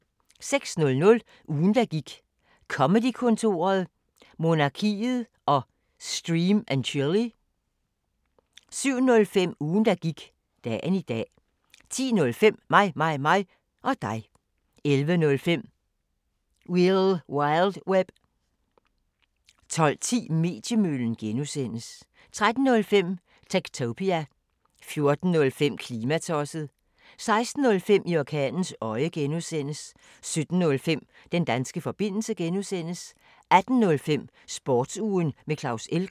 06:00: Ugen der gik: Comedy-kontoret, Monarkiet og Stream & Chill 07:05: Ugen der gik: Dagen i dag 10:05: Mig, mig, mig og dig 11:05: Wil wild web 12:10: Mediemøllen (G) 13:05: Techtopia 14:05: Klimatosset 16:05: I orkanens øje (G) 17:05: Den danske forbindelse (G) 18:05: Sportsugen med Claus Elgaard